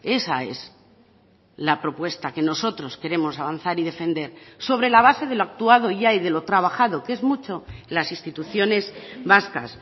esa es la propuesta que nosotros queremos avanzar y defender sobre la base de lo actuado ya y de lo trabajado que es mucho las instituciones vascas